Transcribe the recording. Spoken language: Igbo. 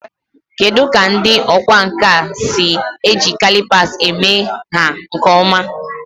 Kedu ka ndị ọkwá nkà si eji calipers eme nha nke ọma?